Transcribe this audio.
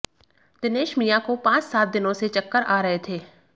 दिनेश मियां को पांच सात दिनों से चक्कर आ रहे थे